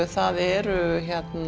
það eru